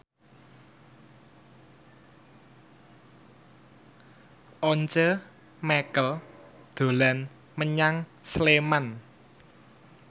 Once Mekel dolan menyang Sleman